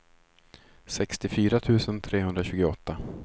sextiofyra tusen trehundratjugoåtta